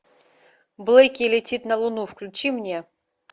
блэки летит на луну включи мне